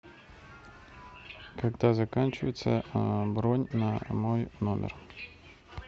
когда заканчивается бронь на мой номер